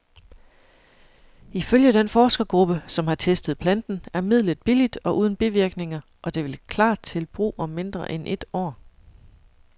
Ifølge den forskergruppe, som har testet planten, er midlet billigt og uden bivirkninger, og det vil klar til brug om mindre end et år.